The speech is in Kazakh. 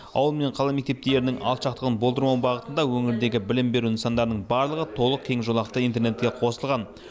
ауыл мен қала мектептерінің алшақтығын болдырмау бағытында өңірдегі білім беру нысандарының барлығы толық кең жолақты интернетке қосылған